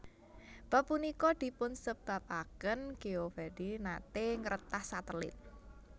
Bab punika dipunsebabaken Geovedi nate ngretas satelit